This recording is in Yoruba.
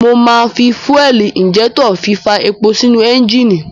Mo máa fi fúẹ̀lì ìńjẹ́tọ̀ fí fa epo sínú ẹ́ńjínì.